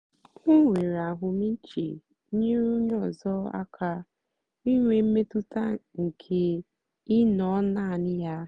o nwèrè àhụ́mị̀chè nyèrè ònyè ọ́zọ́ àka ìnwé mmètụ́tà nkè ị̀ nọ́ naanì ya.